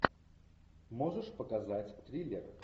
можешь показать триллер